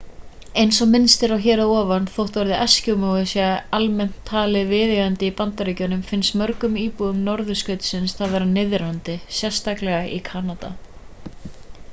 eins og minnst er á hér að ofan þótt orðið eskimói sé almennt talið viðeigandi í bandaríkjunum finnst mörgum íbúum norðurskautsins það vera niðrandi sérstaklega í kanada